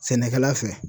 Sɛnɛkɛla fɛ